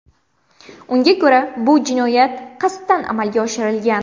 Unga ko‘ra, bu jinoyat qasddan amalga oshirilgan.